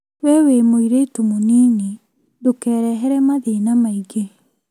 We wĩ mũirĩtu mũnini ndũkerehere mathĩna maingĩ